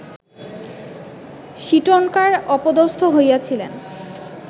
সীটনকার অপদস্থ হইয়াছিলেন